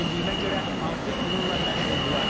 Bildiyimə görə, artıq bununla məşğuldular.